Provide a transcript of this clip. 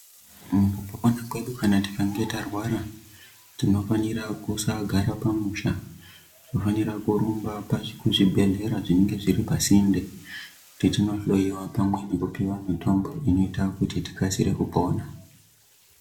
Mukupona kwedu kana tikange tarwara tinofanira kusagara pamusha tinofanira kurumba pazvi kuzvibhedhlera zvinenga zviri pasinde tichindohloiwa pamwe nekupiwa mutombo inoita kuti tikasire kupona.